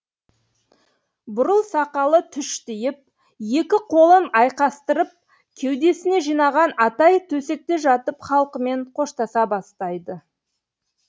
бурыл сақалы түштиіп екі қолын айқастырып кеудесіне жинаған атай төсекте жатып халқымен қоштаса бастайды